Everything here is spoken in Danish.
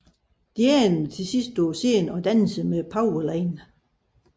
De ender til sidst på scenen og danser med Powerline